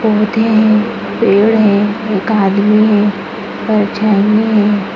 पौधे हैं पेड़ हैं एक आदमी है परछाईयाँ हैं।